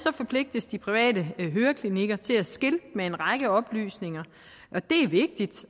forpligtes de private høreklinikker til at skilte med en række oplysninger